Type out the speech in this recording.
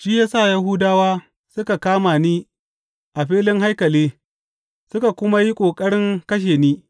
Shi ya sa Yahudawa suka kama ni a filin haikali suka kuma yi ƙoƙarin kashe ni.